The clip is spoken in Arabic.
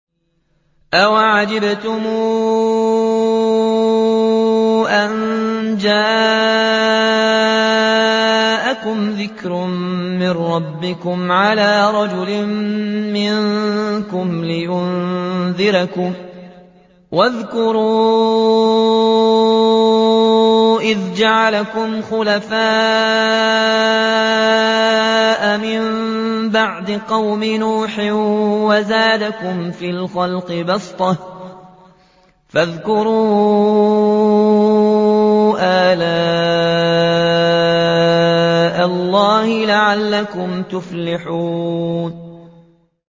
أَوَعَجِبْتُمْ أَن جَاءَكُمْ ذِكْرٌ مِّن رَّبِّكُمْ عَلَىٰ رَجُلٍ مِّنكُمْ لِيُنذِرَكُمْ ۚ وَاذْكُرُوا إِذْ جَعَلَكُمْ خُلَفَاءَ مِن بَعْدِ قَوْمِ نُوحٍ وَزَادَكُمْ فِي الْخَلْقِ بَسْطَةً ۖ فَاذْكُرُوا آلَاءَ اللَّهِ لَعَلَّكُمْ تُفْلِحُونَ